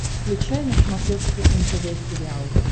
включай на смотрешке нтв сериал